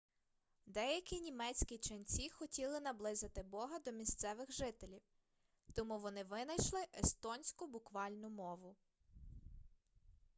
деякі німецькі ченці хотіли наблизити бога до місцевих жителів тому вони винайшли естонську буквальну мову